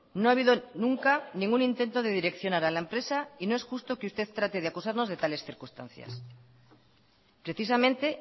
no ha habido nunca ningún intento de direccionar a la empresa y no es justo que usted trate de acusarnos de tales circunstancias precisamente